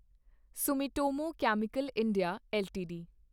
Sumitomo chemical India LTD